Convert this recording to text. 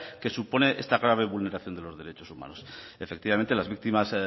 que supone esta clave vulneración de los derechos humanos efectivamente las víctimas